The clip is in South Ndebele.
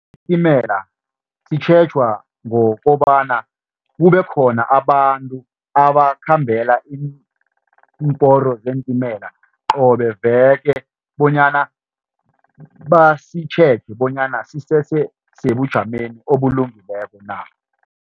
Isitimela sitjhejwa ngokobana kubekhona abantu abakhambela iimporo zeentimela qobe veke bonyana basitjheje bonyana sisese sebujameni obulungileko na.